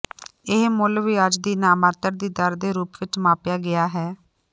ਇਹ ਮੁੱਲ ਵਿਆਜ ਦੀ ਨਾਮਾਤਰ ਦੀ ਦਰ ਦੇ ਰੂਪ ਵਿੱਚ ਮਾਪਿਆ ਗਿਆ ਹੈ